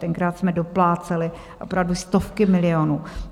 Tenkrát jsme dopláceli opravdu stovky milionů.